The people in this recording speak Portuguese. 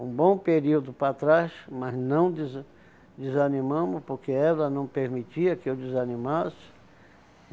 Um bom período para trás, mas não desa desanimamos, porque ela não permitia que eu desanimasse.